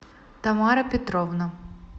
тамара петровна